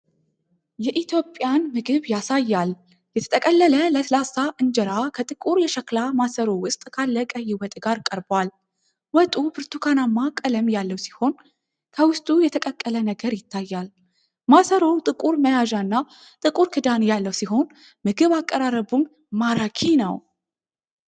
የኢትዮጵያን ምግብ ያሳያል። የተጠቀለለ ለስላሳ እንጀራ ከጥቁር የሸክላ ማሰሮ ውስጥ ካለ ቀይ ወጥ ጋር ቀርቧል። ወጡ ብርትኳናማ ቀለም ያለው ሲሆን፤ ከውስጡ የተቀቀለ ነገር ይታያል። ማሰሮው ጥቁር መያዣና ጥቁር ክዳን ያለው ሲሆን፤ ምግብ አቀራረቡም ማራኪ ነው።